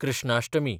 Krishnashtami